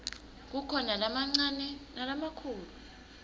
kukhona lamancane nalamakhulu